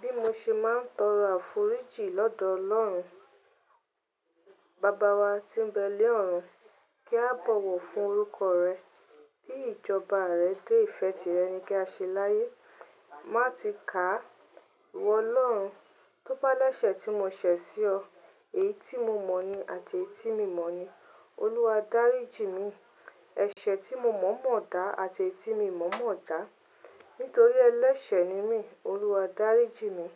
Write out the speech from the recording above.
Bí mo ṣe máa ń tọrọ àforíjì lọ́dọ̀ ọlọ́run, baba wa tí ń bẹ lé ọ̀run kí a bọ̀wọ̀ fún orúkọ rẹ, kí ìjọba rẹ dé ìfẹ́ ti rẹ ní kí á ṣe láyé. Máa ti ka iwọ Ọlọ́run tó bá lẹ́sẹ̀ tí mo ṣẹ̀ sí ọ, èyí tí mo mọ̀ ni àti èyí tí mi mọ̀ ni, Olúwa dáríji mi. Ẹ̀ṣẹ̀ tí mo mọ̀ mọ̀ọ́ dá àti èyí tí mo mọ̀ mọ̀ọ́ dá. Nítorí ẹlẹ́sẹ̀ ni mí, Olúwa, dáríji mi.